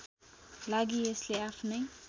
लागि यसले आफ्नै